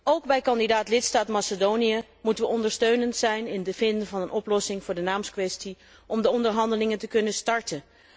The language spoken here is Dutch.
Ook bij kandidaat lidstaat Macedonië moeten wij ondersteunend zijn in de zin van een oplossing voor de naamskwestie om de onderhandelingen te kunnen starten.